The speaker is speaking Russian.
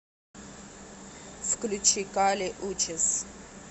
включи кали учис